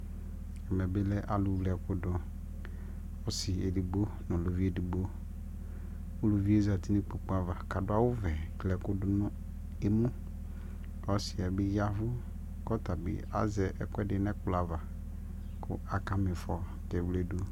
ɛmɛ bi lɛ alʋ wlɛ ɛkʋdʋ, ɔsii ɛdigbɔ nʋ ʋlʋviɛdigbɔ, ʋlʋviɛ zati nʋ ikpɔkʋ aɣa kʋ adʋ awʋ vɛ kli ɛkʋ dʋnʋ ɛmʋ kʋ ɔsiiɛ bi yavʋ kʋ ɔtabi azɛ ɛkʋɛdi nʋɛkplɔ aɣa kʋ aka miƒɔ kɛwlɛdʋ